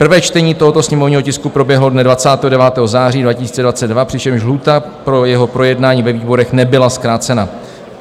Prvé čtení tohoto sněmovního tisku proběhlo dne 29. září 2022, přičemž lhůta pro jeho projednání ve výborech nebyla zkrácena.